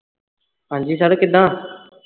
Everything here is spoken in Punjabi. ਹਾਂ ਜੀ sir ਕਿਁਦਾ